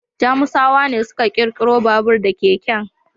Jamusawa ne suka ƙirƙiro babur da keken.